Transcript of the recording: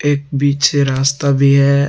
एक बीच से रास्ता भी है।